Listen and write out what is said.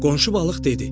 Qonşu balıq dedi: